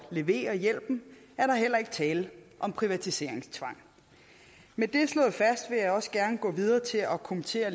levere hjælpen er der heller ikke tale om privatiseringstvang med det slået fast vil jeg også gerne gå videre til at kommentere